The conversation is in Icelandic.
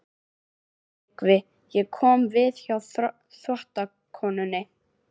TRYGGVI: Ég kom við hjá þvottakonunni.